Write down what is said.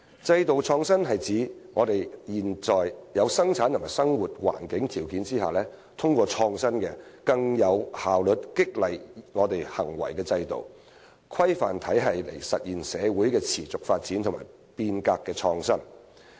制度創新是指在現有的生產和生活環境條件下，通過創新的、能更有效激勵人們行為的制度或規範體系，來實現社會持續發展和變革的創新。